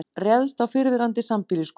Réðst á fyrrverandi sambýliskonu